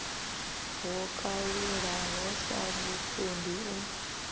ho kalulaho sa vhupondi u